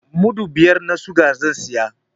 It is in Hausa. Mudu biyar na sikari zai saya.